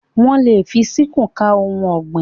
Wọ́n lè fi síkúù ká ohun ọ̀gbìn.